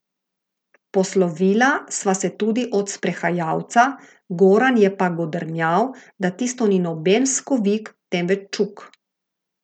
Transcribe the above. Poslovila sva se tudi od sprehajalca, Goran je pa godrnjal, da tisto ni noben skovik, temveč čuk.